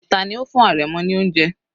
Tani ó fún àrẹ̀mọ ní oúnjẹ?